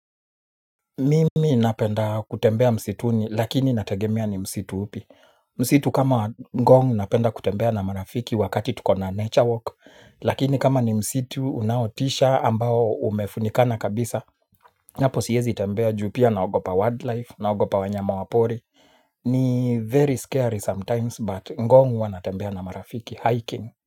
Mimi napenda kutembea msituni lakini nategemea ni msitu upi. Msitu kama ngong napenda kutembea na marafiki wakati tuko na nature walk. Lakini kama ni msitu unaotisha ambao umefunikana kabisa hapo siwezi tambua juu pia naogopa wildlife naogopa wanyama wa pori. Ni very scary sometimes but ngong wanatembea na marafiki hiking.